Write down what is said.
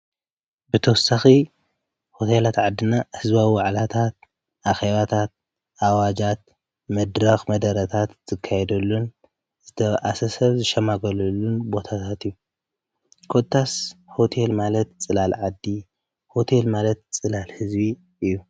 ብተወሳኺ ሆቴላት ዓድና ህዝዋዊ ዋዕላታት፣ ኣኼባታት፣ ኣዋጃት፣ መድራኽ መደረታት ዝካይደሉን ዝተበኣሰ ሰብ ዝሸማገለሉን ቦታታት እዩ፡፡ ኮታስ ሆቴል ማለት ፅላል ዓዲ ሆቴል ማለት ፅላል ህዝቢ እዩ፡፡